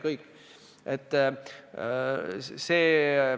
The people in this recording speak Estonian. Kõik!